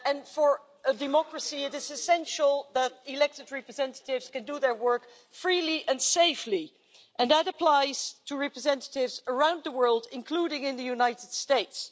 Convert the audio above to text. For democracy it is essential that elected representatives can do their work freely and safely, and that applies to representatives around the world, including in the United States.